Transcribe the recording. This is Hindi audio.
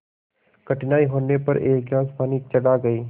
कठिनाई होने पर एक गिलास पानी चढ़ा गए